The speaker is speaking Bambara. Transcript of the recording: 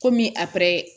Komi a